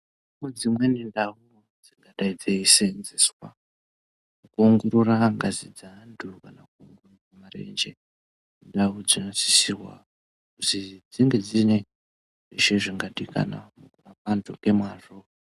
Kune dzimweni ndau dzingadai dzisenzeswa kuongorora ngazi dzeantu kana marenje. Ndau dzakasisirwa kuzi dzinge dziine zvese zvingadikwanwa mukurapa antu ngemazvo.